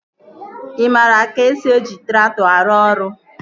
Ị maara ka esi eji traktọ arụ ọrụ?